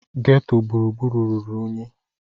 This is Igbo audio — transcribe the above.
Geto gburugburu ruru unyi